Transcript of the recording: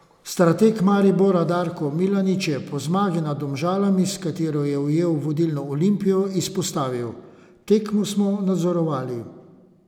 Strateg Maribora Darko Milanič je po zmagi nad Domžalami, s katero je ujel vodilno Olimpijo, izpostavil: "Tekmo smo nadzorovali.